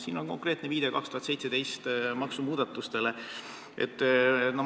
Siin on konkreetne viide 2017. aasta maksumuudatustele.